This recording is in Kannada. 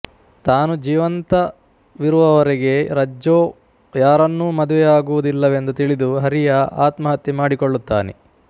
ತಾನು ಜೀವಂತವಿರುವವರೆಗೆ ರಜ್ಜೊ ಯಾರನ್ನೂ ಮದುವೆಯಾಗುವುದಿಲ್ಲವೆಂದು ತಿಳಿದು ಹರಿಯಾ ಆತ್ಮಹತ್ಯೆ ಮಾಡಿಕೊಳ್ಳುತ್ತಾನೆ